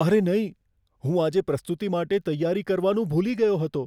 અરે નહીં! હું આજે પ્રસ્તુતિ માટે તૈયારી કરવાનું ભૂલી ગયો હતો.